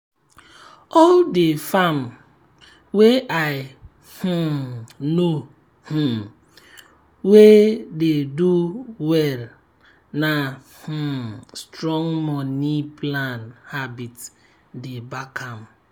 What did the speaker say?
all d farm wey i um know um weye dey do well na um strong money plan habit dey back am.